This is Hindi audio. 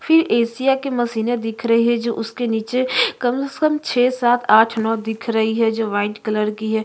फिर एशिया की मशीने दिख रही है जो उसके नीचे कम से कम छ: सात आठ नौ दिख रही है जो वाइट कलर की है।